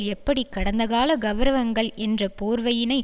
எப்படி கடந்தகால கெளரவங்கள் என்ற போர்வையினை